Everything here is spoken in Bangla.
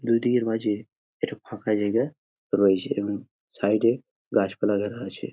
দুদিকের মাজে একটু ফাঁকা জায়গা রয়েছে এবং সাইড -এ গাছপালা দেখা যাচ্ছে ।